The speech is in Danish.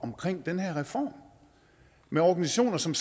den her reform med organisationer som